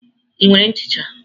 Ị nwere nchicha?